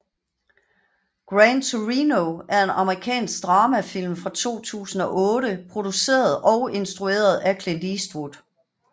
Gran Torino er en amerikansk dramafilm fra 2008 produceret og instrueret af Clint Eastwood